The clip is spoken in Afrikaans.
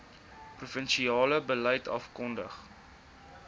provinsiale beleid afgekondig